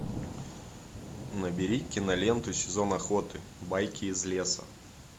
набери киноленту сезон охоты байки из леса